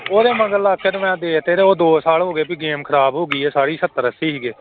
ਉਹਦੇ ਮਗਰ ਲੱਗ ਕੇ ਤੇ ਮੈਂ ਦੇ ਦਿੱਤੇ ਤੇ ਉਹ ਦੋ ਸਾਲ ਹੋ ਗਏ ਵੀ game ਖ਼ਰਾਬ ਹੋ ਗਈ ਹੈ ਸਾਰੀ ਸੱਤਰ ਅੱਸੀ ਸੀਗੇ।